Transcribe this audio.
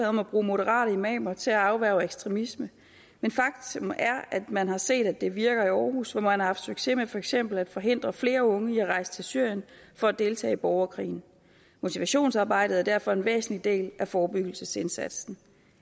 om at bruge moderate imamer til at afværge ekstremisme men faktum er at man har set at det virker i århus hvor man har haft succes med for eksempel at forhindre flere unge i at rejse til syrien for at deltage i borgerkrigen motivationsarbejdet er derfor en væsentlig del af forebyggelsesindsatsen